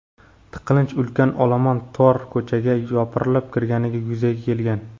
Tiqilinch ulkan olomon tor ko‘chaga yopirilib kirganida yuzaga kelgan.